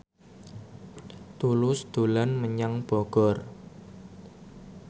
Tulus dolan menyang Bogor